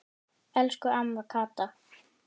Elsku amma Kata.